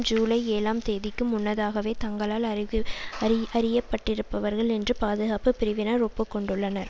ஜூலை ஏழாம் தேதிக்கு முன்னதாகவே தங்களால் அறிக் அறி அறியப்பட்டிருப்பவர்கள் என்று பாதுகாப்பு பிரிவினர் ஒப்பு கொண்டுள்ளனர்